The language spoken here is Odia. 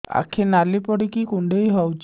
ଆଖି ନାଲି ପଡିକି କୁଣ୍ଡେଇ ହଉଛି